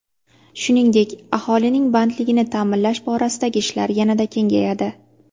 Shuningdek, aholining bandligini ta’minlash borasidagi ishlar yanada kengayadi.